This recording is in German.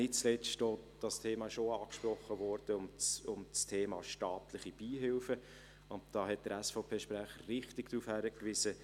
Nicht zuletzt – dieses Thema wurde auch angesprochen – geht es auch um das Thema der staatlichen Beihilfen, und da hat der SVP-Sprecher richtig darauf hingewiesen: